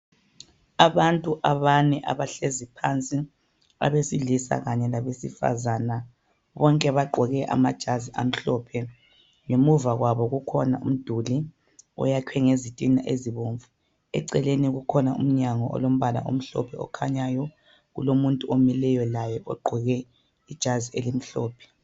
Abantu abane abahlezi phansi abesilisa kanye labesifazana bonke bagqoke amajazi amhlophe ngemuva kwabo kukhona umduli oyakhwe ngezitina ezibomvu eceleni kukhona umnyango olombala omhlophe okhanyayo kulomuntu omileyo laye ogqoke ijazi elimhlophe.